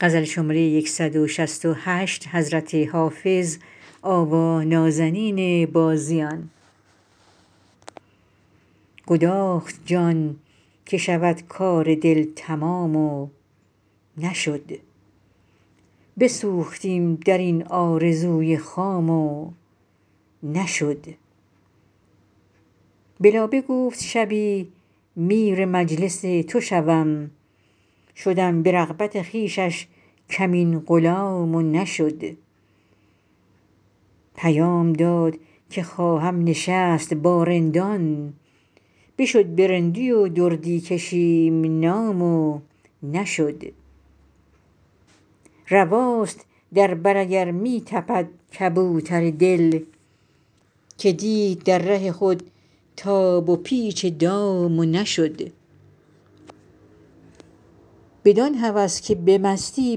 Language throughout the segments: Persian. گداخت جان که شود کار دل تمام و نشد بسوختیم در این آرزوی خام و نشد به لابه گفت شبی میر مجلس تو شوم شدم به رغبت خویشش کمین غلام و نشد پیام داد که خواهم نشست با رندان بشد به رندی و دردی کشیم نام و نشد رواست در بر اگر می تپد کبوتر دل که دید در ره خود تاب و پیچ دام و نشد بدان هوس که به مستی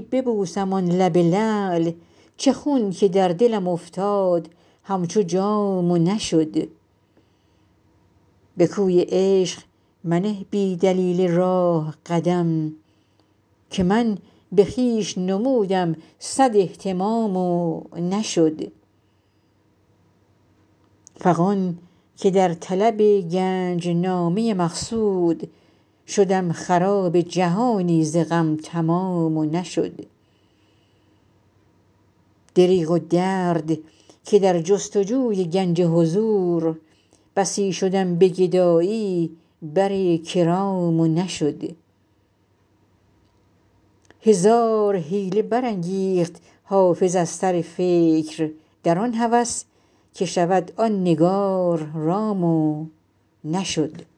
ببوسم آن لب لعل چه خون که در دلم افتاد همچو جام و نشد به کوی عشق منه بی دلیل راه قدم که من به خویش نمودم صد اهتمام و نشد فغان که در طلب گنج نامه مقصود شدم خراب جهانی ز غم تمام و نشد دریغ و درد که در جست و جوی گنج حضور بسی شدم به گدایی بر کرام و نشد هزار حیله برانگیخت حافظ از سر فکر در آن هوس که شود آن نگار رام و نشد